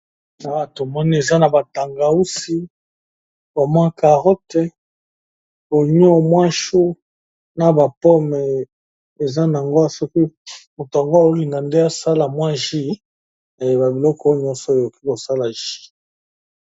Awa tomoni eza na batangausi ba mwa carote, onion mwa chu na bapome eza nango soki mutu yango azo linga nde asala mwa jus na yeba biloko oyo nyonso akoki kosala jus.